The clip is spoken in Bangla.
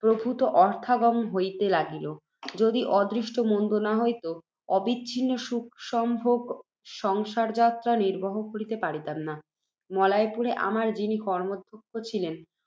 প্রভূত অর্থাগম হইতে লাগিল। যদি অদৃষ্ট মন্দ না হইত, অবিচ্ছিন্ন সুখসম্ভোগে সংসারযাত্রা নির্ব্বাহ করিতে পারিতাম না । মলয়পুরে আমার যিনি কর্ম্মাধ্যক্ষ ছিলেন,